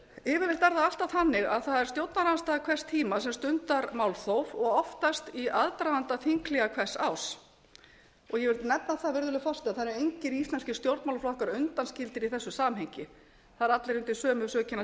það alltaf þannig að það er stjórnarandstaða hvers tíma sem stundar málþóf og oftast í aðdraganda þinghléa hvers árs ég vil nefna það virðulegi forseti að það eru engir íslenskir stjórnmálaflokkar undanskildir í þessu samhengi það eru allir undir bökum sökina